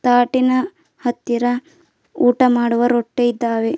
ತಾಟಿನ ಹತ್ತಿರ ಊಟ ಮಾಡುವ ರೊಟ್ಟಿ ಇದ್ದಾವೆ.